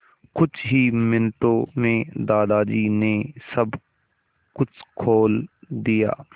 कुछ ही मिनटों में दादाजी ने सब कुछ खोल दिया